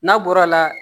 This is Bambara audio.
N'a bɔra la